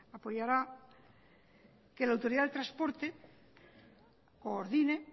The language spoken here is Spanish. apoyará que la autoridad de transporte coordine